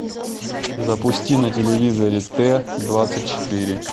запусти на телевизоре т двадцать четыре